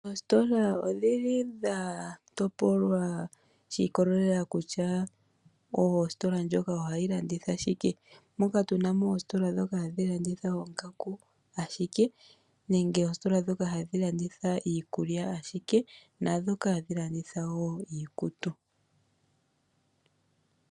Oositola odhili dhatopolwa shiikolelela kutya oositola dhoka ohadhi landitha shike moka tunamo oositola dhoka hadhi landitha oongaku ashike nenge oositola dhoka hadhi landitha iikulya ashike naashoka hadhi landitha iikutu.